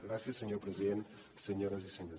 gràcies senyor president senyores i senyors diputats